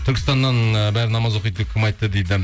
түркістаннан ы бәрі намаз оқиды деп кім айтты дейді